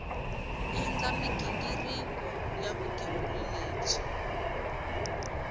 endla mighingiriko ya vugembuli lebyi